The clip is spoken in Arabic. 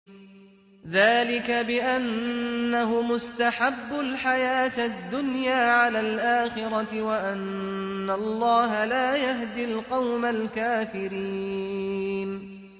ذَٰلِكَ بِأَنَّهُمُ اسْتَحَبُّوا الْحَيَاةَ الدُّنْيَا عَلَى الْآخِرَةِ وَأَنَّ اللَّهَ لَا يَهْدِي الْقَوْمَ الْكَافِرِينَ